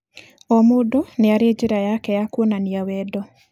O mũndũ nĩ arĩ njĩra yake ya kuonania wendo.